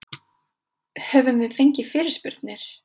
Höfum við fengið fyrirspurnir?